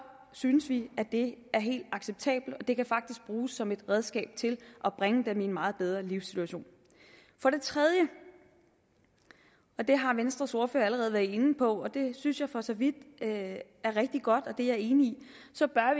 synes vi at det er helt uacceptabelt og det kan faktisk bruges som et redskab til at bringe dem i en meget bedre livssituation for det tredje og det har venstres ordfører allerede været inde på og det synes jeg for så vidt er rigtig godt og det er jeg enig